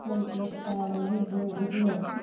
খল চেষ্টার অভিযোগ উঠলো